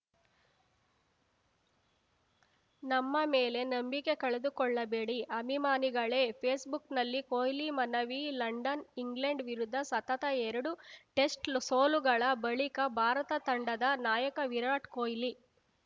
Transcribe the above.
ನಮ್ಮ ಮೇಲೆ ನಂಬಿಕೆ ಕಳೆದುಕೊಳ್ಳಬೇಡಿ ಅಭಿಮಾನಿಗಳೇ ಫೇಸ್‌ಬುಕ್‌ನಲ್ಲಿ ಕೊಹ್ಲಿ ಮನವಿ ಲಂಡನ್‌ ಇಂಗ್ಲೆಂಡ್‌ ವಿರುದ್ಧ ಸತತ ಎರಡು ಟೆಸ್ಟ್‌ ಸೋಲುಗಳ ಬಳಿಕ ಭಾರತ ತಂಡದ ನಾಯಕ ವಿರಾಟ್‌ ಕೊಹ್ಲಿ